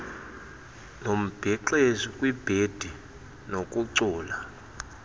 nembhexeshi kwibhendi kunokucula